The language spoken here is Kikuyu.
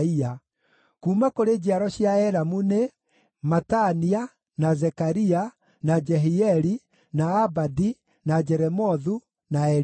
Kuuma kũrĩ njiaro cia Elamu nĩ: Matania, na Zekaria, na Jehieli, na Abadi, na Jeremothu, na Elija.